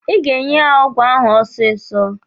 Ị ga-enye ya ọgwụ ahụ ọsịsọ!